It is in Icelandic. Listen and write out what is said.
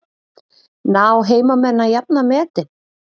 Ná heimamenn að jafna metin?